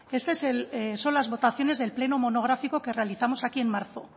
estas son las votaciones del pleno monográfico que realizamos aquí en marzo